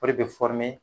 O de bɛ